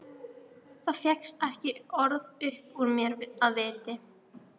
Það fékkst ekki orð upp úr mér af viti.